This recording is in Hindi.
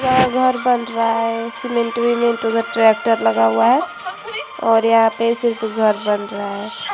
यहाँ घर बन रहा है। सीमेन्ट बीमेन्ट उधर ट्रेक्टर लगा हुआ है और यहाँ पे सिर्फ घर बन रहा है।